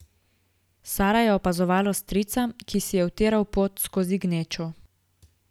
Sara je opazovala strica, ki si je utiral pot skozi gnečo.